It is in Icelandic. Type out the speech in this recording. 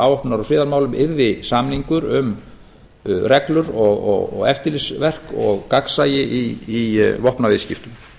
afvopnunar og friðarmálum yrði samningur um reglur og eftirlitsverk og gagnsæi í vopnaviðskiptum